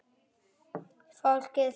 Fólkið fyrst!